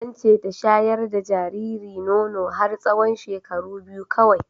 Ance ta shayar da jariri nono har tsawon shekaru biyu kawai